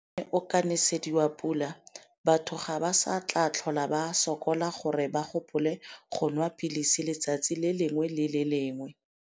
Fa ona o ka nesediwa pula, batho ga ba sa tla tlhole ba sokola gore ba gopole go nwa pilisi letsatsi le lengwe le le lengwe.